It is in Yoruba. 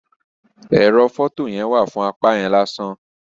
Ẹrọ fọto yẹn wa fún apá yẹn lásán.